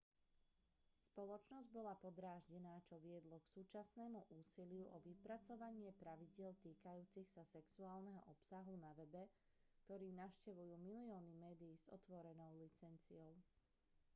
spoločnosť bola podráždená čo viedlo k súčasnému úsiliu o vypracovanie pravidiel týkajúcich sa sexuálneho obsahu na webe ktorý navštevujú milióny médií s otvorenou licenciou